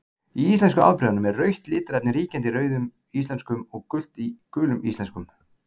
Í íslensku afbrigðunum er rautt litarefni ríkjandi í Rauðum íslenskum og gult í Gulum íslenskum.